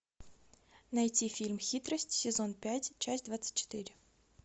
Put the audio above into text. найти фильм хитрость сезон пять часть двадцать четыре